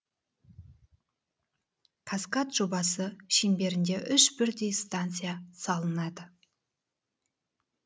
каскад жобасы шеңберінде үш бірдей станция салынады